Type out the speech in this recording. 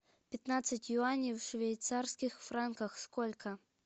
пятнадцать юаней в швейцарских франках сколько